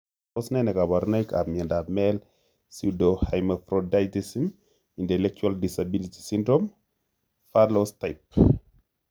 Tos ne kaborunoikap miondop male pseudohermaphroditism intellectual disability syndrome, verloes type?